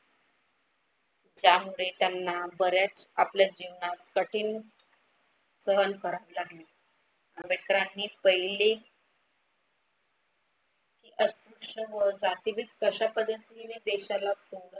त्यामुळे त्यांना बऱ्याच आपल्या जीवनात कठीण सहन करावी लागली. आंबेडकरानी पहिली अस्पृश्य व जातीभेद कशा पद्धत्तीने देशाला